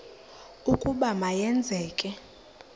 ukuba ma yenzeke